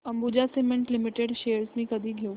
Ambuja cement limited shares मी कधी घेऊ